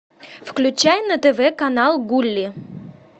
включай на тв канал гулли